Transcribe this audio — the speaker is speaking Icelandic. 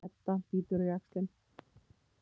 Edda bítur á jaxlinn.